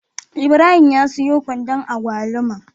Ibrahim ya siyo kwandon agwaluma